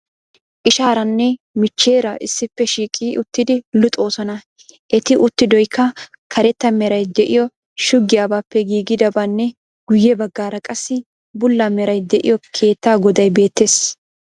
Ishaaranne michcheera issippe shiiqi uttidi luxoosona. Eti uttidoyikka karetta merayi de'iyo shuggiyabaappe giigidabanne guyye baggaara qassi bulla meray de'iyo keettaa godayi beettees.